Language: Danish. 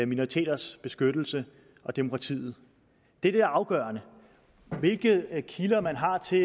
minoriteters beskyttelse og demokrati det er det afgørende hvilke kilder man har til